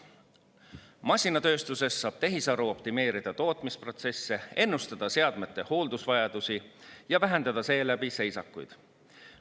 Masinatööstuses saab tehisaru optimeerida tootmisprotsesse, ennustada seadmete hooldusvajadusi ja vähendada seeläbi seisakuid.